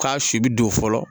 K'a si bi don fɔlɔ